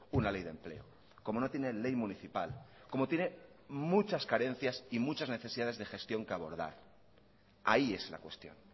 una ley de empleo como no tiene ley municipal como tiene muchas carencias y muchas necesidades de gestión que abordar ahí es la cuestión